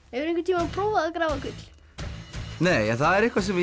einhvern tíma prófað að grafa gull nei en það er eitthvað sem